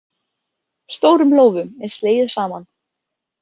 Stórum lófum er slegið saman.